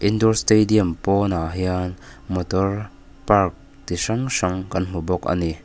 indoor stadium pawnah hian motor park chi hrang kan hmu bawk a ni.